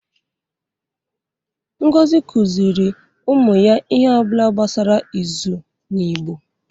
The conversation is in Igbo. Ngozi kụziri ụmụ ya ihe ọ bụla gbasara izu n’Igbo.